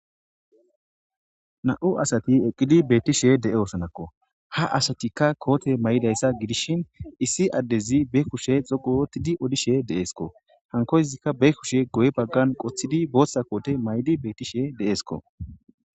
Namu asati eqidi betishe deosona ha asatikka kote mayidayisa gidishin issi adezi ba kushe dhoqu ooththidi odishe desikko hanikkoyisika ba kushe guye baggani qotidi botha kote mayidi desikko